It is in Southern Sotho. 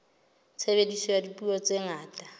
tshebediso ya dipuo tse ngata